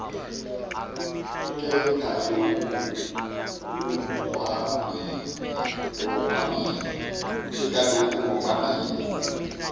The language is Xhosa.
ke kaloku omabini